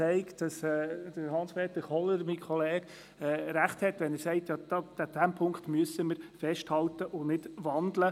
Mein Kollege Hans-Peter Kohler hat recht, wenn er sagt, an diesem Punkt müssten wir festhalten und ihn nicht wandeln.